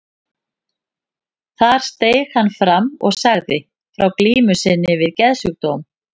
Þar steig hann fram og sagði frá glímu sinni við geðsjúkdóm.